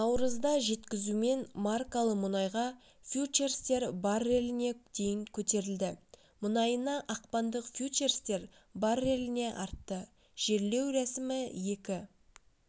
наурызда жеткізумен маркалы мұнайға фьючерстер барреліне дейін көтерілді мұнайына ақпандық фьючерстер барреліне артты жерлеу рәсімі екі